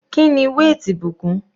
Kíni weight ìbùkún?